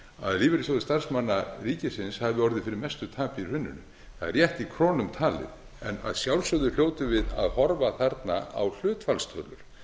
að lífeyrissjóður starfsmanna ríkisins hafi orðið fyrir mestu tapi í hruninu það er rétt í krónum talið en að sjálfsögðu hljótum við að horfa þarna á hlutfallstölur